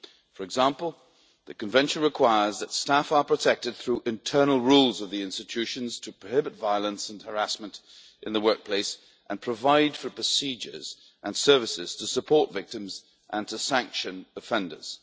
For example, the Convention requires that staff are protected through the internal rules of the institutions to prohibit violence and harassment in the workplace and provide for procedures and services to support victims and to sanction offenders.